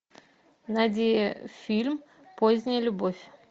найди фильм поздняя любовь